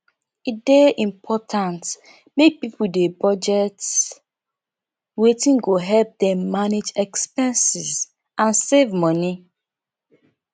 e dey important make pipo dey budget wetin go help dem manage expenses and save money